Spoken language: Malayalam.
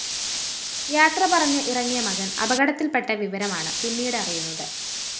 യാത്ര പറഞ്ഞ് ഇറങ്ങിയ മകന്‍ അപകടത്തില്‍പ്പെട്ട വിവരമാണ് പിന്നിട് അറിയുന്നത്